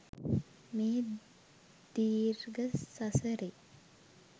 මේ දීර්ඝ සසරේ